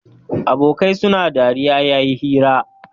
Abokai suna dariya yayi hira